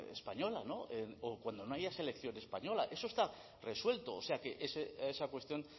española no o cuando no haya selección española eso está resuelto o sea que esa cuestión